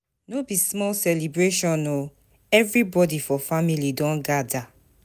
No be small celebration o, everybodi for family don gada.